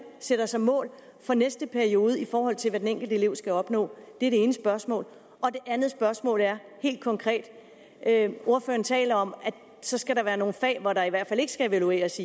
sætter sig mål for næste periode i forhold til hvad den enkelte elev skal opnå det er det ene spørgsmål det andet spørgsmål er helt konkret ordføreren taler om at så skal der være nogle fag hvor der i hvert fald ikke skal evalueres